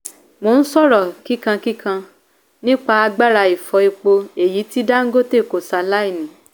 mo ń sọ̀rọ̀ kíkankíkan nípa agbára ifọ epo èyí tí dangote kò ṣe aláìní.